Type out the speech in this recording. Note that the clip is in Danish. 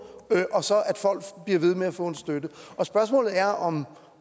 og så at folk bliver ved med at få støtte og spørgsmålet er om